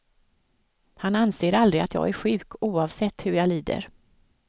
Han anser aldrig att jag är sjuk, oavsett hur jag lider.